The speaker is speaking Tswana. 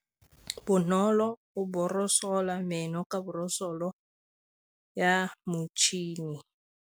Bonolô o borosola meno ka borosolo ya motšhine.